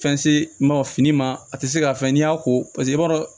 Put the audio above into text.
Fɛn se ma fini ma a tɛ se ka fɛn n'i y'a ko paseke i b'a dɔn